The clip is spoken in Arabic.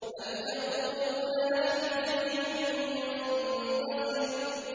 أَمْ يَقُولُونَ نَحْنُ جَمِيعٌ مُّنتَصِرٌ